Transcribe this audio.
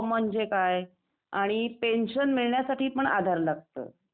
हो म्हणजे काय कि पेन्शन मिळण्या साठी पण आधार लागत.